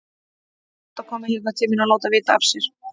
Hún var oft að koma hérna til mín og láta vita af sér.